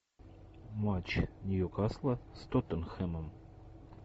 матч ньюкасла с тоттенхэмом